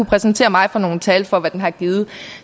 præsentere mig for nogen tal for hvad den har givet